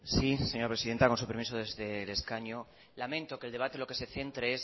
sí señora presidenta con su permiso desde el escaño lamento que el debate lo que se centre es